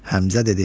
Həmzə dedi: